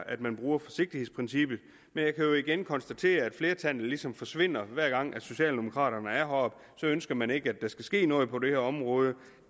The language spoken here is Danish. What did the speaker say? at man bruger forsigtighedsprincippet men jeg kan jo igen konstatere at flertallet ligesom forsvinder hver gang socialdemokraterne står heroppe ønsker man ikke at der skal ske noget på det her område